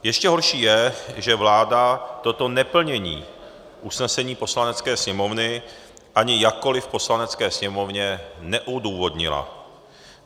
Ještě horší je, že vláda toto neplnění usnesení Poslanecké sněmovny ani jakkoli Poslanecké sněmovně neodůvodnila.